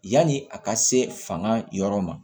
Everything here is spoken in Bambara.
Yanni a ka se fanga yɔrɔ ma